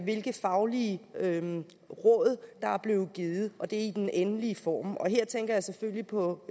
hvilke faglige råd der er blevet givet i den endelige form her tænker jeg selvfølgelig på